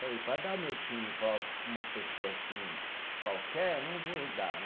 Falei, para dar o meu time para uma pessoa assim qualquer, eu não vou dar, né?